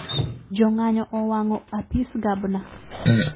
Jong'anyo owang'o apis gabna